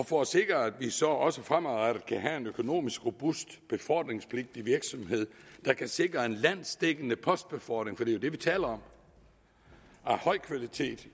for at sikre at vi så også fremadrettet kan have en økonomisk robust befordringspligtig virksomhed der kan sikre en landsdækkende postbefordring for det er jo det vi taler om af høj kvalitet